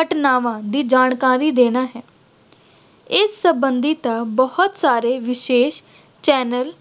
ਘਟਨਾਵਾਂ ਦੀ ਜਾਣਕਾਰੀ ਦੇਣਾ ਹੈ। ਇਸ ਸੰਬੰਧੀ ਤਾਂ ਬਹੁਤ ਸਾਰੇ ਵਿਸ਼ੇਸ਼ channel